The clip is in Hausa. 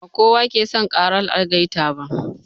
Ba kowa ke son ƙarar algaita ba.